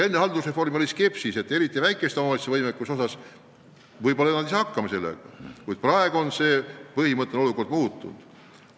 Enne haldusreformi valitses skepsis, et väikesed omavalitsused ei saa ehk kohalike maksude kehtestamisega hakkama, kuid praegu on see muutunud.